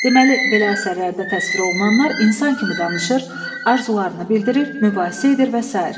Deməli, belə əsərlərdə təsvir olunanlar insan kimi danışır, arzularını bildirir, mübahisə edir və sair.